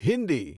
Hindi